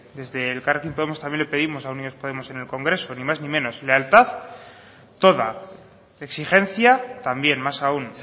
desde elkarrekin podemos también le pedimos a unidos podemos en el congreso ni más ni menos lealtad toda exigencia también más aún